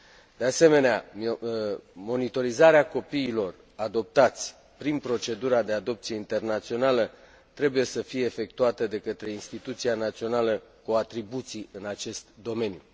De asemenea, monitorizarea copiilor adoptați prin procedura de adopție internațională trebuie să fie efectuată de către instituția națională cu atribuții în acest domeniu.